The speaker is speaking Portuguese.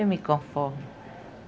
Eu me conformo.